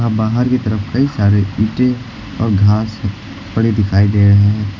बाहर की तरफ कई सारे ईंटे और घास पड़े दिखाई दे रहे हैं।